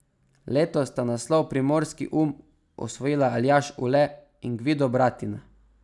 Letos sta naslov Primorski um osvojila Aljaž Ule in Gvido Bratina.